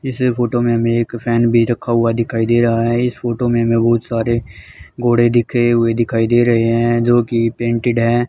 इस फोटो में हमें एक फैन भी रखा हुआ दिखाई दे रहा है इस फोटो में हमें बहुत सारे घोड़े दिखे हुए दिखाई दे रहे हैं जो कि पेंटेड हैं।